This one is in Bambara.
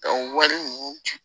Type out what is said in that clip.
wari ninnu